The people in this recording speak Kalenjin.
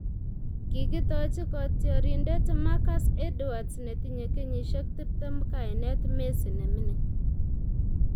kikitoji kotiorindet Marcus Edwards netinyei kenyisiek tiptem kainet 'Messi ne ming'in '